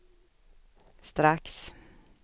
strax